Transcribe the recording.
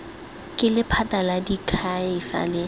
ke lephata la diakhaefe la